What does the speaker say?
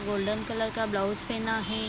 Golden colour का blouse पहना है।